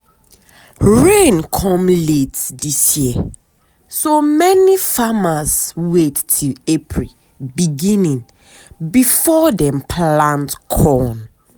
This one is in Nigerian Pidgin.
i put big drum under zinc roof to um collect rain water for um animal um and garden use.